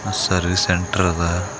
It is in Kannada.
ಸರ್ವಿಸ್ ಸೆಂಟರ್ ಅದ.